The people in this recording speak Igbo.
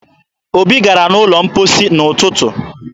Obi gara n'ụlọ mposi n'ụtụ